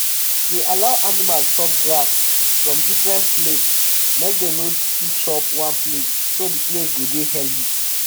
she dey allow animal chop grass from different place make dem no to chop one place so d place go dey healthy